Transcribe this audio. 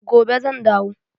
Gobe zan dawo.